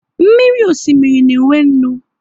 Mmiri osimiri na e nwe nnu